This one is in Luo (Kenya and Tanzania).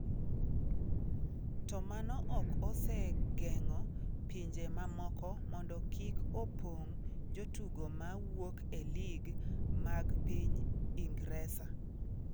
To mano ok osegeng’o pinje mamoko mondo kik opong’ jotugo ma wuok e lig mag piny Ingresa.